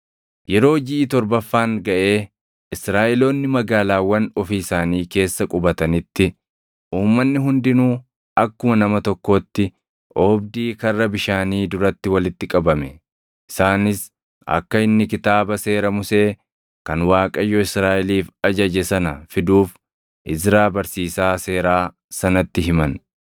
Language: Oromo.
Yeroo jiʼi torbaffaan gaʼee Israaʼeloonni magaalaawwan ofii isaanii keessa qubatanitti, uummanni hundinuu akkuma nama tokkootti oobdii Karra Bishaanii duratti walitti qabame. Isaanis akka inni Kitaaba Seera Musee kan Waaqayyo Israaʼeliif ajaje sana fiduuf Izraa barsiisaa seeraa sanatti himan.